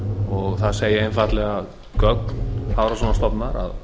og það segja einfaldlega gögn hafrannsóknastofnunar að